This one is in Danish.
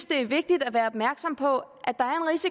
det er vigtigt at være opmærksom på